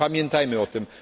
Pamiętajmy o tym!